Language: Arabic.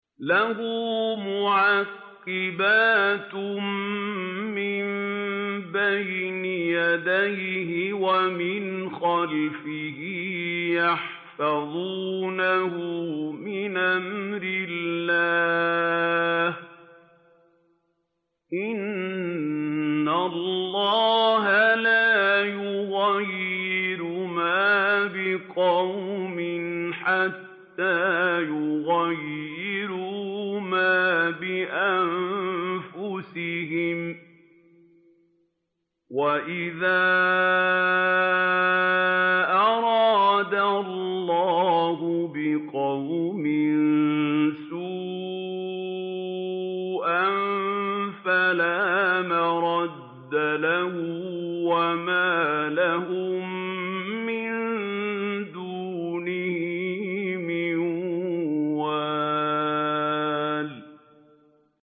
لَهُ مُعَقِّبَاتٌ مِّن بَيْنِ يَدَيْهِ وَمِنْ خَلْفِهِ يَحْفَظُونَهُ مِنْ أَمْرِ اللَّهِ ۗ إِنَّ اللَّهَ لَا يُغَيِّرُ مَا بِقَوْمٍ حَتَّىٰ يُغَيِّرُوا مَا بِأَنفُسِهِمْ ۗ وَإِذَا أَرَادَ اللَّهُ بِقَوْمٍ سُوءًا فَلَا مَرَدَّ لَهُ ۚ وَمَا لَهُم مِّن دُونِهِ مِن وَالٍ